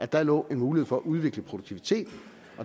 der lå en mulighed for at udvikle produktiviteten